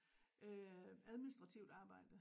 Øh administrativt arbejde